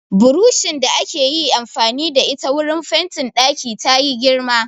Buroshin da akayi amfani da ita wurin fentin ɗaki tayi girma